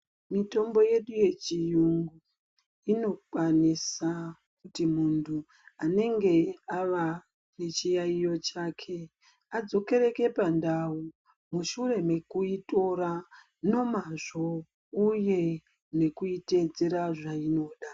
Mitombo yedu yechiyungu inokwanisa kuti muntu anenge ava nechiyaiyo chake adzokereke pandau mushure mekuitora nomazvo uye nekuitedzera zvainoda